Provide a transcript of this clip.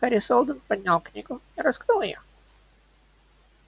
хари сэлдон поднял книгу и раскрыл её